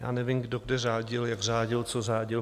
Já nevím, kdo kde řádil, jak řádil, co řádil.